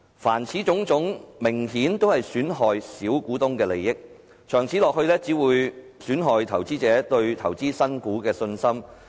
凡此種種明顯都是損害小股東的利益，長此下去只會損害投資者對投資新股的信心。